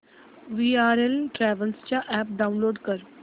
VRL travels चा app download कर